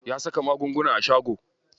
Ya saka magunguna a shago.